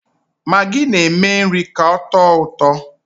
Magi na-eme nri ka ọtọ ụtọ.